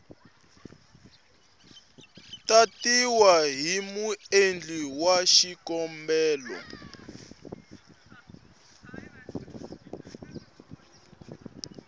tatiwa hi muendli wa xikombelo